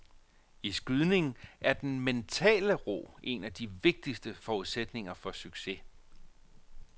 I skydning er den mentale ro en af de vigtigste forudsætninger for succes.